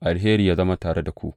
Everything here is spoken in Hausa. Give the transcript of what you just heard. Alheri yă zama tare da ku.